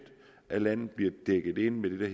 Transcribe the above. af landet bliver dækket ind med det